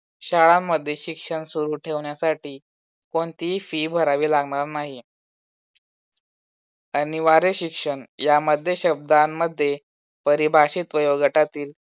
शाळांमध्ये शिक्षण सुरू ठेवण्यासाठी कोणतीही fee भरावी लागणार नाही. अनिवार्य शिक्षण यामध्ये शब्दांमध्ये परिभाषिक प्रयोगटातील